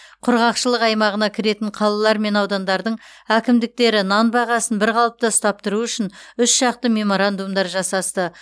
құрғақшылық аймағына кіретін қалалар мен аудандардың әкімдіктері нан бағасын бір қалыпта ұстап тұру үшін үш жақты меморандумдар жасасты